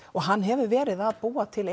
og hann hefur verið að búa til